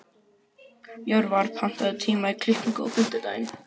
Jörvar, pantaðu tíma í klippingu á fimmtudaginn.